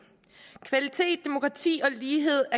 kvalitet demokrati og lighed